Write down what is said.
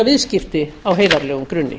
viðskipti á heiðarlegum grunni